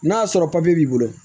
N'a sɔrɔ papiye b'i bolo